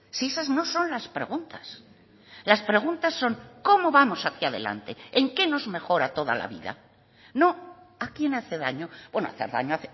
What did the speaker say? si esas no son las preguntas las preguntas son cómo vamos hacia adelante en qué nos mejora toda la vida no a quién hace daño bueno hacer daño